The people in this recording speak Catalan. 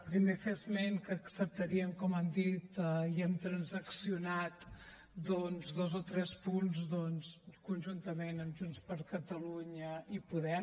primer fer esment que acceptaríem com hem dit i hem transaccionat dos o tres punts conjuntament amb junts per catalunya i podem